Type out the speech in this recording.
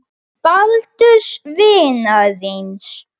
Baldurs vinar þíns.